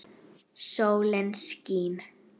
Sólin skín.